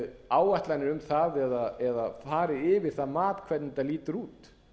áætlanir um það eða farið yfir það mat hvernig þetta lítur út